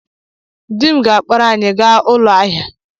Di m ga-akpọrọ anyị gaa ụlọ ahịa.